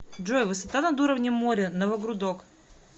джой высота над уровнем моря новогрудок